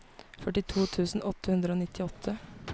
førtito tusen åtte hundre og nittiåtte